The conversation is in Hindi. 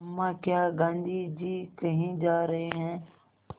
अम्मा क्या गाँधी जी कहीं जा रहे हैं